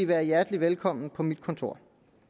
være hjertelig velkommen på mit kontor